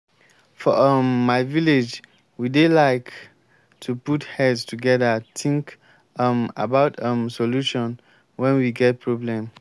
for um my village we dey like to put heads together think um about um solution wen we get problem